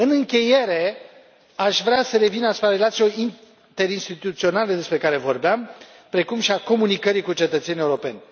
În încheiere, aș vrea să revin asupra relațiilor interinstituționale despre care vorbeam, precum și a comunicării cu cetățenii europeni.